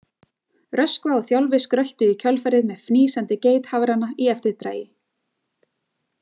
Röskva og Þjálfi skröltu í kjölfarið með fnýsandi geithafrana í eftirdragi.